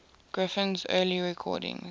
griffin's early recordings